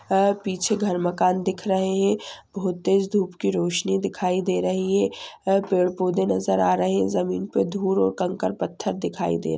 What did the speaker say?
पीछे घर मकान दिख रहे हैं बहुत तेज़ धूप की रोशनी दिखाई दे रही हैं पेड़ पौधे नजर आ रहे हैं ज़मीन पर धूल और कंकर पत्थर दिखाई दे रहा है।